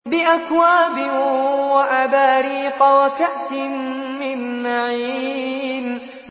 بِأَكْوَابٍ وَأَبَارِيقَ وَكَأْسٍ مِّن مَّعِينٍ